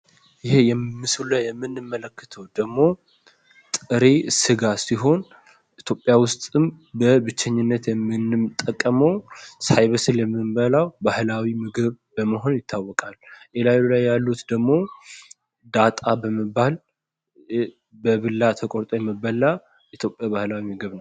ይሄ ምስሉ ላይ የምንመለከተው ደግሞ ጥሬ ስጋ ሲሆን ኢትዮጵያ ውስጥም በብቸኝነት የምንጠቀመው ሳይበስል የምንበላው ባህላዊ ምግብ መሆኑ ይታወቃል። ከላዩ ላይ ያሉት ደግሞ ዳጣ በመባል በቢላ ተቆርጦ የሚበላ የኢትዮጵያ ባህላዊ ምግብ ነው።